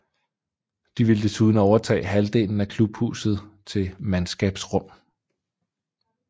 De ville desuden overtage halvdelen af klubhuset til mandskabsrum